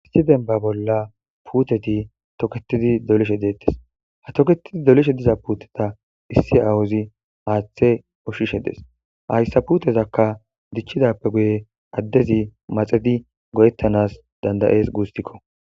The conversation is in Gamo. Issi dembba bolla puuteti toketidi dolishe deetees. Ha toketidi dolishe diza puuteta issi aawozi haathe ushshishe dees. Hayssa puutezaka diccidappe guyen addezi maxidi go'etanas danda'ees guusuko.